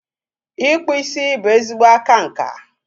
Ịkpụ isi bụ ezigbo aka nka.